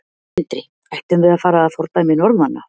Sindri: Ættum við að fara að fordæmi Norðmanna?